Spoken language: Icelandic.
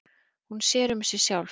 Hún sér um sig sjálf.